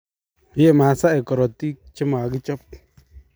ee masaek korotik che makichop